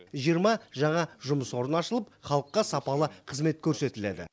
жиырма жаңа жұмыс орны ашылып халыққа сапалы қызмет көрсетіледі